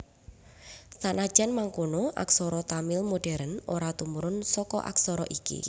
Sanajan mangkono aksara Tamil modhèren ora tumurun saka aksara iki